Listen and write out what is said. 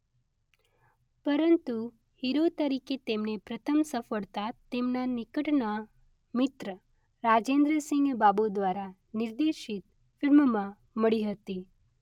પરંતુ હીરો તરીકે તેમને પ્રથમ સફળતા તેમના નિકટના મિત્ર રાજેન્દ્ર સિંઘ બાબુ દ્વારા નિર્દેશિત ફિલ્મમાં મળી હતી.